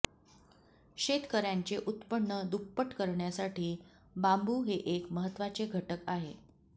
शेतकऱ्यांचे उत्पन्न दुप्पट करण्यासाठी बांबू हे एक महत्त्वाचे घटक आहे